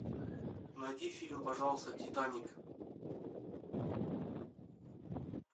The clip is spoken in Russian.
найди фильм пожалуйста титаник